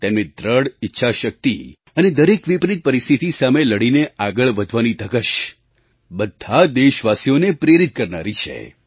તેમની દૃઢ ઈચ્છાશક્તિ અને દરેક વિપરિત પરિસ્થિતિ સામે લડીને આગળ વધવાની ધગશ બધાં દેશવાસીઓને પ્રેરિત કરનારી છે